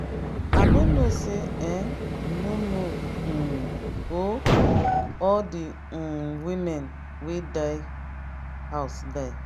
i no know say um you no know um ooo. all the um women wey dey house die.